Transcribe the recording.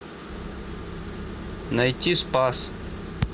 найти спас